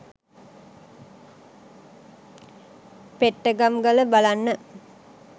පෙට්ටගම් ගල බලන්න.